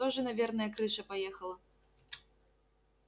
тоже наверное крыша поехала